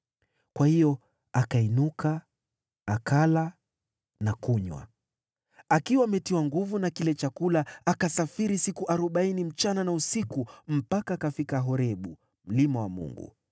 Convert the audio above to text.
Kwa hiyo akainuka, akala na kunywa. Akiwa ametiwa nguvu na kile chakula, akasafiri siku arobaini usiku na mchana mpaka akafika Horebu, mlima wa Mungu.